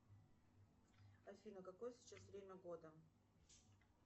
афина какое сейчас время года